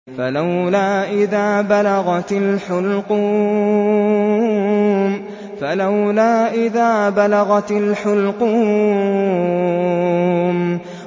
فَلَوْلَا إِذَا بَلَغَتِ الْحُلْقُومَ